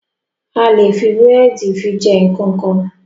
A lè fi búrẹ̀dì jẹ fi jẹ nkankan.